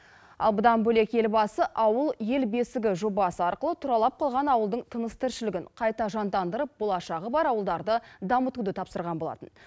ал бұдан бөлек елбасы ауыл ел бесігі жобасы арқылы тұралап қалған ауылдың тыныс тіршілігін қайта жандандырып болашағы бар ауылдарды дамытуды тапсырған болатын